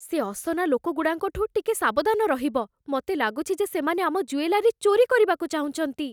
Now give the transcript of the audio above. ସେ ଅସନା ଲୋକଗୁଡ଼ାଙ୍କଠୁ ଟିକେ ସାବଧାନ ରହିବ । ମତେ ଲାଗୁଛି ଯେ ସେମାନେ ଆମ ଜୁଏଲାରୀ ଚୋରି କରିବାକୁ ଚାହୁଁଛନ୍ତି ।